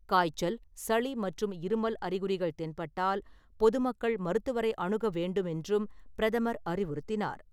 காய்ச்சல் , சளி மற்றும் இருமல் அறிகுறிகள் தென்பட்டால் பொதுமக்கள் மருத்துவரை அணுக வேண்டுமென்றும் பிரதமர் அறிவுறுத்தினார்.